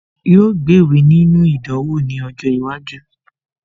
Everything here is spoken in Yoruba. Yóò gbéwèé nínú ìdánwò ní ọjọ́ iwájú